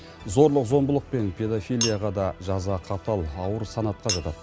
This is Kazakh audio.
зорлық зомбылық пен педофилияға да жаза қатал ауыр санатқа жатады